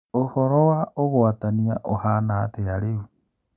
ũhoro wa ũgũatania ũhana atĩa rĩu ?